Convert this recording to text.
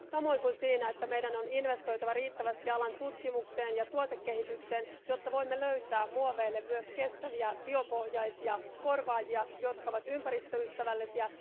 Samoin kuin siinä, että meidän on investoitava riittävästi alan tutkimukseen ja tuotekehitykseen, jotta voimme löytää muoveille myös kestäviä biopohjaisia korvaajia, jotka ovat ympäristöystävällisiä.